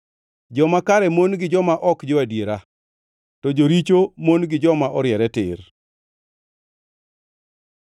Joma kare mon gi joma ok jo-adiera, to joricho mon gi joma oriere tir.